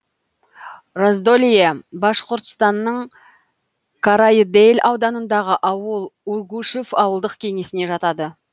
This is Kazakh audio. раздолье башқұртстанның карайыдель ауданындағы ауыл ургушев ауылдық кеңесіне жатады